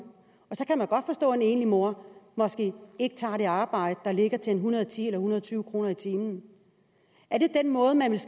enlig mor måske ikke tager det arbejde der ligger til en hundrede og ti en hundrede og tyve kroner i timen